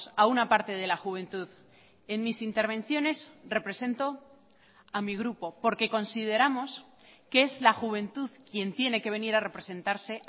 a una parte de la juventud en mis intervenciones represento a mi grupo porque consideramos que es la juventud quien tiene que venir a representarse